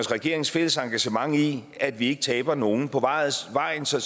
regeringens fælles engagement i at vi ikke taber nogen på vejen vejen så